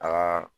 A ka